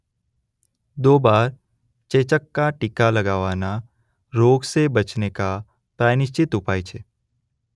દો બાર ચેચક કા ટીકા લગાવાના રોગ સે બચને કા પ્રાય નિશ્ચિત ઉપાય છે.